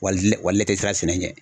tɛ sira sɛnɛ ɲɛ.